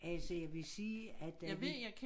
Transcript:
Altså jeg vil sige at da de